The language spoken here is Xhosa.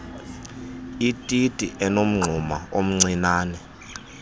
ititi enomngxuma omncianen